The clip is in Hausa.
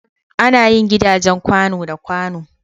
Ana yin gidajen kwàno da kwàno.